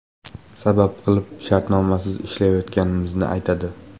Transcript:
Sabab qilib shartnomasiz ishlayotganimizni aytadi.